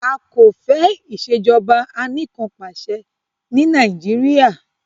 A kò fẹ́ ìṣèjọba anìkànpàṣẹ ní Nàìjíríà.